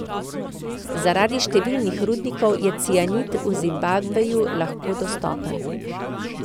Zaradi številnih rudnikov je cianid v Zimbabveju lahko dostopen.